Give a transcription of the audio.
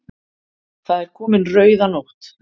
Það er komin rauðanótt.